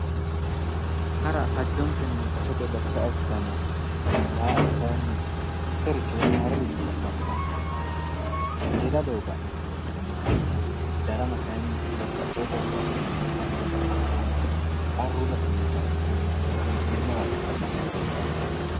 Hara fajjonkenni basetenni base sa'a ikkitanna, daa"ata kaayiinni mittoricho haaroricho la'nammora seeda doogo ha'ne buunxeemmoricho ikkanna darama kaayiinni baxxewo korkaatinni hattono, qarru batinyii kaeehunni base hee'neemmowa agurre doogo fulate